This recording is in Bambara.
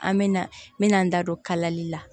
An me na n me na n da don kalali la